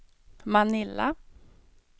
Manila